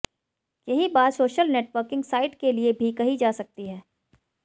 यही बात social networking sites के लिए भी कही जा सकती है